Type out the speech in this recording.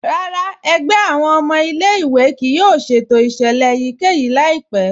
Rárá, ẹ̀gbẹ̀ awọn ọmọ ilẹ̀-ìwé kíì yóò ṣẹ̀tò iṣẹlẹ̀ èyíkẹ́yì laipẹ̀.